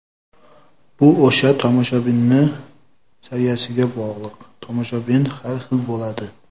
Bu o‘sha tomoshabinni saviyasiga bog‘liq, tomoshabin har xil bo‘ladi.